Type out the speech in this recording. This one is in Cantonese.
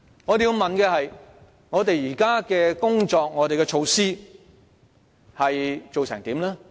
我們要問的是，我們現行的工作和措施有何成果？